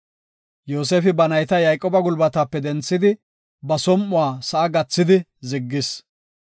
Yoosefi ba nayta Yayqooba gulbatape denthidi, ba som7uwa sa7a gathidi ziggis.